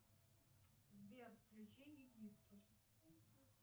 сбер включи египтус